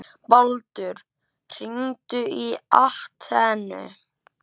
Baldur, hringdu í Atenu.